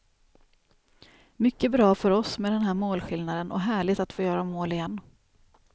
Mycket bra för oss med den här målskillnaden, och härligt att få göra mål igen.